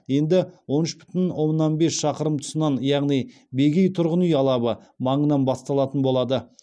енді он үш бүтін оннан бес шақырым тұсынан яғни бегей тұрғын үй алабы маңынан басталатын болады